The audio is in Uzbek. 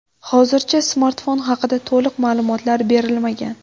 Hozircha smartfon haqida to‘liq ma’lumotlar berilmagan.